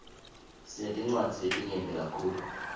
sinetincwadzi letinyeti kakhulu